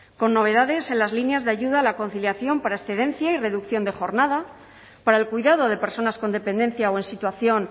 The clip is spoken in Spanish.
con novedades en las líneas de ayuda a la conciliación para excedencia y reducción de jornada para el cuidado de personas con dependencia o en situación